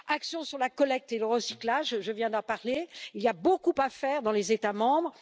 action sur la collecte et le recyclage, je viens d'en parler, il y a beaucoup à faire dans les États membres